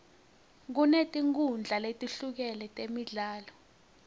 kunetinkhundla letehlukene temidlalo